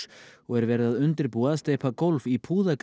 og er verið að undirbúa að steypa gólf í